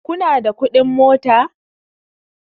kuna da kuɗin mota?